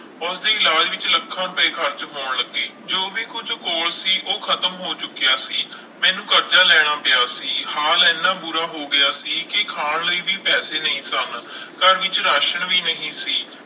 ਉਸਦੇ ਇਲਾਜ਼ ਵਿੱਚ ਲੱਖਾਂ ਰੁਪਏ ਖ਼ਰਚ ਹੋਣ ਲੱਗੇ, ਜੋ ਵੀ ਕੁੱਝ ਕੋਲ ਸੀ ਉਹ ਖ਼ਤਮ ਹੋ ਚੁੱਕਿਆ ਸੀ, ਮੈਨੂੰ ਕਰਜ਼ਾ ਲੈਣਾ ਪਿਆ ਸੀ ਹਾਲ ਇੰਨਾ ਬੁਰਾ ਹੋ ਗਿਆ ਸੀ ਕਿ ਖਾਣ ਲਈ ਵੀ ਪੈਸੇ ਨਹੀਂ ਸਨ ਘਰ ਵਿੱਚ ਰਾਸ਼ਣ ਵੀ ਨਹੀਂ ਸੀ।